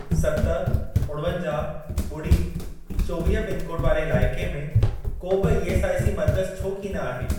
सत, उणवंजाहु, ॿुड़ी, चोवीह पिनकोड वारे इलाइके में को बि ईएसआईसी मर्कज़ छो कीन आहे?